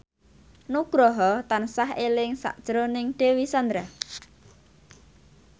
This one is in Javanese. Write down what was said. Nugroho tansah eling sakjroning Dewi Sandra